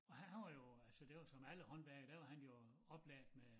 Og han han var jo så det jo som alle håndværkere der var han jo oplært med